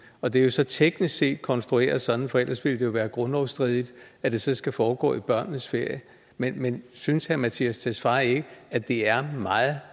og det er jo så teknisk set konstrueret sådan for ellers ville det være grundlovsstridigt at det skal foregå i børnenes ferie men men synes herre mattias tesfaye ikke at det er meget